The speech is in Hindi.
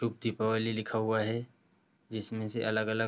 शुभ दीपावली लिखा हुआ है जिसमें से अलग-अलग --